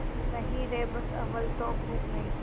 नहीं रे बस अव्वल तो अब भूख नहीं